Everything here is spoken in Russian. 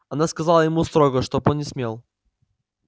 она сказала ему строго чтоб не смел